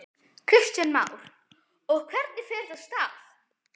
Kristján Már: Og hvernig fer þetta af stað?